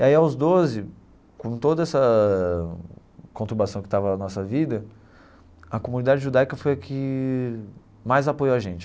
E aí aos doze, com toda essa conturbação que estava na nossa vida, a comunidade judaica foi a que mais apoiou a gente.